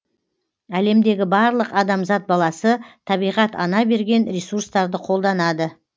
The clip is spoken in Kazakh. әлемдегі барлық адамзат баласы табиғат ана берген ресурстарды қолданады